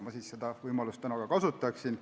Ma seda võimalust täna ka kasutan.